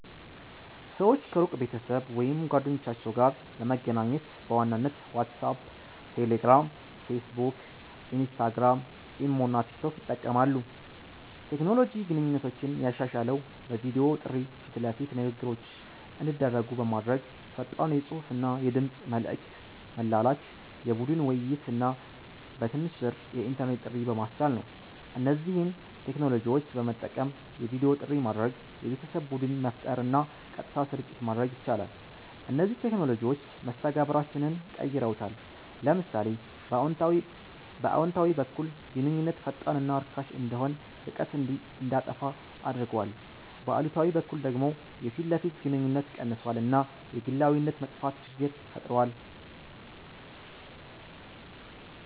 ሰዎች ከሩቅ ቤተሰብ ወይም ጓደኞቻቸው ጋር ለመገናኘት በዋናነት ዋትሳፕ፣ ቴሌግራም፣ ፌስቡክ፣ ኢንስታግራም፣ ኢሞ እና ቲክቶክ ይጠቀማሉ። ቴክኖሎጂ ግንኙነቶችን ያሻሻለው በቪዲዮ ጥሪ ፊት ለፊት ንግግሮች እንዲደረጉ በማድረግ፣ ፈጣን የጽሁፍና የድምጽ መልዕክት መላላክ፣ የቡድን ውይይት እና በትንሽ ብር የኢንተርኔት ጥሪ በማስቻል ነው። እነዚህን ቴክኖሎጂዎች በመጠቀም የቪዲዮ ጥሪ ማድረግ፣ የቤተሰብ ቡድን መፍጠር እና ቀጥታ ስርጭት ማድረግ ይቻላል። እነዚህ ቴክኖሎጂዎች መስተጋብራችንን ቀይረውታል። ለምሳሌ በአዎንታዊ በኩል ግንኙነት ፈጣንና ርካሽ እንዲሆን፣ ርቀትን እንዲያጠፋ አድርጓል፤ በአሉታዊ በኩል ደግሞ የፊት ለፊት ግንኙነት ቀንሷል እና የግላዊነት መጥፋት ችግር ፈጥሯል።